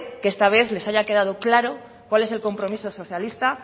que esta vez les haya quedado claro cuál es el compromiso socialista